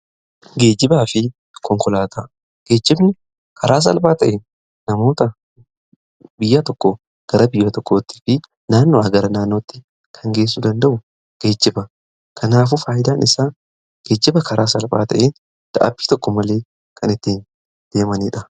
Geejjibaa fi konkolaataa, geejjibni karaa salphaa ta'ee namoota biyya tokko gara biyya tokkootti fi naannoodhaa gara naannootti kan geessuu danda'u geejjiba. Kanaafuu faayidaan isaa geejjiba karaa salphaa ta'een dadhabbii tokko malee kan ittiin deemaniidha.